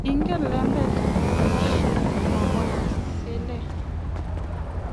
Kingen lembetan noboisien, kimwa Bwana Cele.